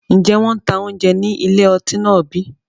Ǹjẹ́ wọn tá oúnjẹ ní ilé ọtí náà bí?